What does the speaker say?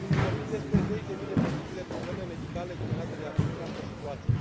Vorbim despre zeci de mii de posibile probleme medicale generate de această situație.